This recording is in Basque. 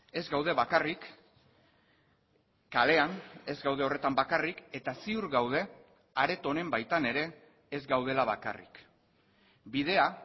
ez gaude bakarrik kalean ez gaude horretan bakarrik eta ziur gaude areto honen baitan ere ez gaudela bakarrik bidea